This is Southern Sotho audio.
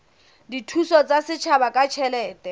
dithuso tsa setjhaba ka ditjhelete